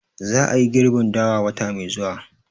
Za a yi girbin dawa wata mai zuwa